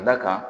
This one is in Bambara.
Ka d'a kan